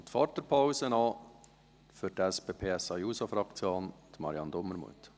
Und vor der Pause noch für die SP-JUSO-PSAFraktion: Marianne Dumermuth.